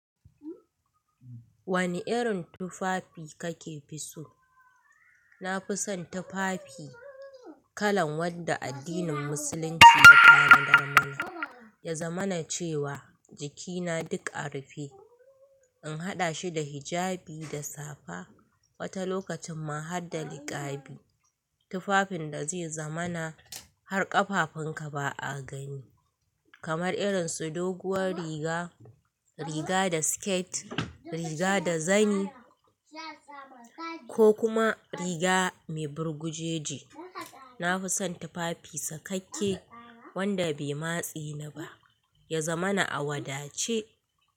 Wani irin tufafi kake fi so? Na fi son tufafi kalan wanda addinin musulunci ya tanadar mana, ya zamana cewa jiki na duk a rufe. In haɗa shi da hijabi da safa, wata lokacin ma harda niƙabi. Tufafin da zai zamana har ƙafafun ka ba a gani, kamar irin su doguwar riga, riga da sket, riga da zani ko kuma riga mai burgujeje. Na fi son tufafi sakakke wanda bai matsi ni ba, ya zamana a wadace.